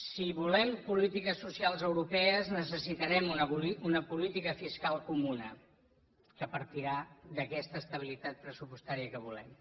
si volem polítiques socials europees necessitarem una política fiscal comuna que partirà d’aquesta estabilitat pressupostària que volem